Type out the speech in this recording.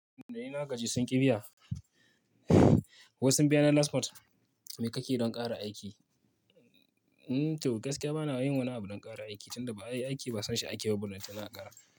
Da yi na ji, sunƙi biya. Wai sun biya na last month. Me ka ke don ƙara aiki? To, gaskiya ba na yin wani abu don ƙara aiki, tunda ba ai aiki ba san shi ake ba, ballantana a ƙara.